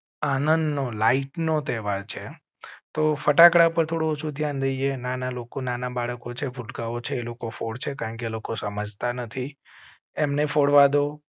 આનંદ નો લાઇટ નો તહેવાર છે તો ફટાકડા પર થોડું ઓછું ધ્યાન દઇએ નાના લોકો નાના બાળકો છે. ભુલકાઓ છે, એ લોકો ફોડસે છે કારણ કે એ લોકો સમજતા નથી. એમને ફોડવા દાવ